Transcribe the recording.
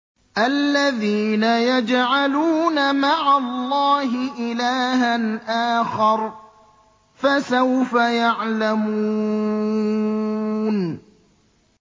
الَّذِينَ يَجْعَلُونَ مَعَ اللَّهِ إِلَٰهًا آخَرَ ۚ فَسَوْفَ يَعْلَمُونَ